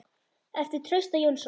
eftir Trausta Jónsson